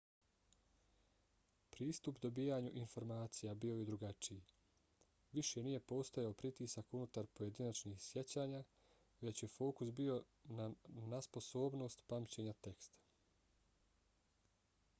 pristup dobijanju informacija bio je drugačiji. više nije postojao pritisak unutar pojedinačnih sjećanja već je fokus bio nasposobnostt pamćenja teksta